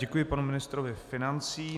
Děkuji panu ministrovi financí.